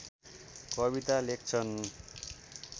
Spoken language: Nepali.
कविता लेख्छन्